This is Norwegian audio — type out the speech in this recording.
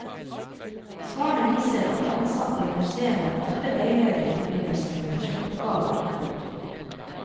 Svarene viser at de ansatte ved museene ofte veileder i forbindelse med prosjektoppgaver. punktum